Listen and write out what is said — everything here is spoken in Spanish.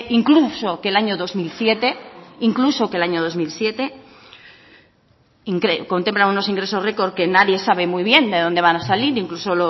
incluso que el año dos mil siete incluso que el año dos mil siete contempla unos ingresos record que nadie sabe muy bien de dónde van a salir incluso